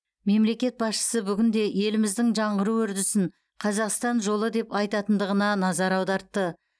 мемлекет басшысы бүгінде еліміздің жаңғыру үрдісін қазақстан жолы деп айтатындығына назар аудартты